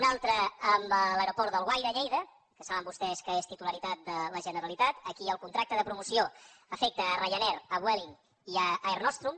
un altre amb l’aeroport d’alguaire a lleida que saben vostès que és titularitat de la generalitat aquí el contracte de promoció afecta ryanair vueling i air nostrum